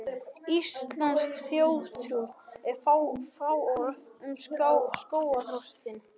Íslensk þjóðtrú er fáorð um skógarþröstinn.